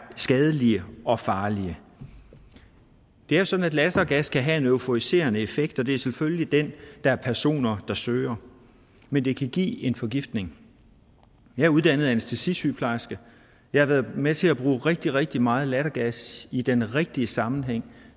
skadelige og farlige det er sådan at lattergas kan have en euforiserende effekt og det er selvfølgelig den der er personer der søger men det kan give en forgiftning jeg er uddannet anæstesisygeplejerske og jeg har været med til at bruge rigtig rigtig meget lattergas i den rigtige sammenhæng